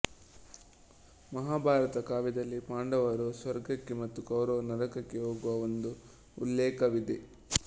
ಮಹಾಭಾರತ ಕಾವ್ಯದಲ್ಲಿ ಪಾಂಡವರು ಸ್ವರ್ಗಕ್ಕೆ ಮತ್ತು ಕೌರವರು ನರಕಕ್ಕೆ ಹೋಗುವ ಒಂದು ಉಲ್ಲೇಖವಿದೆ